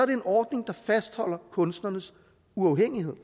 det en ordning der fastholder kunstnernes uafhængighed